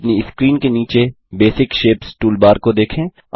अपनी स्क्रीन के नीचे बेसिक शेप्स टूलबार को देखें